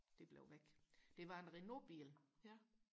det blev væk det var en Renault bil